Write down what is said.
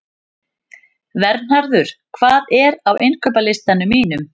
Vernharður, hvað er á innkaupalistanum mínum?